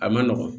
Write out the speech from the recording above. A ma nɔgɔn